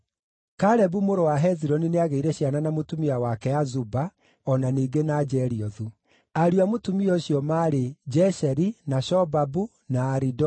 Kalebu mũrũ wa Hezironi nĩagĩire ciana na mũtumia wake Azuba (o na ningĩ na Jeriothu). Ariũ a mũtumia ũcio maarĩ: Jesheri, na Shobabu, na Aridoni.